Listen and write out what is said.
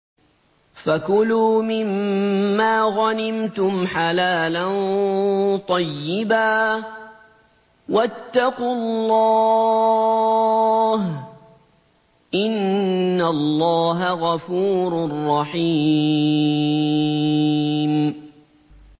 فَكُلُوا مِمَّا غَنِمْتُمْ حَلَالًا طَيِّبًا ۚ وَاتَّقُوا اللَّهَ ۚ إِنَّ اللَّهَ غَفُورٌ رَّحِيمٌ